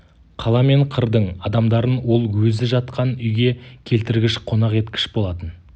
қала мен қырдың адамдарын ол өзі жатқан үйге келтіргіш қонақ еткіш болатын